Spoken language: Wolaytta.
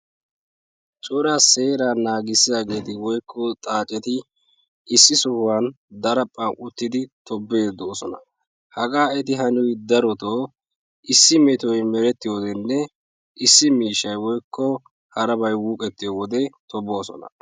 Coraa seeraa naagissiyageeti woykko xaacceti issi sohuwan daraphphan uttidi tobbiidi doossona. Hagaa eti haniyoy darotoo issi metoy merettiyodenne issi miishshay woykko harabay wuqqettiyo wodee tobboosona.